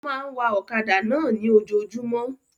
Ó máa ń wa ọ̀kadà náà ní ojojúmọ́